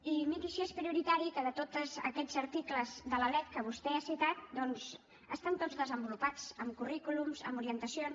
i miri si és prioritari que tots aquests articles de la lec que vostè ha citat doncs estan tots desenvolupats amb currículums amb orientacions